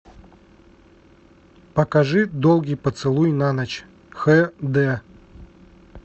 покажи долгий поцелуй на ночь хэ дэ